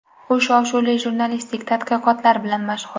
U shov-shuvli jurnalistik tadqiqotlari bilan mashhur.